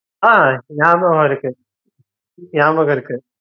ஆஹ் நியாபகம் இருக்கு நியாபகம் இருக்கு